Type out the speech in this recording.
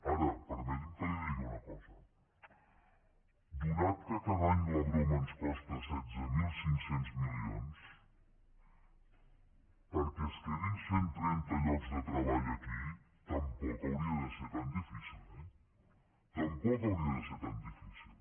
ara permeti’m que li digui una cosa atès que cada any la broma ens costa setze mil cinc cents milions perquè es quedin cent trenta llocs de treball aquí tampoc hauria de ser tan difícil eh tampoc hauria de ser tan difícil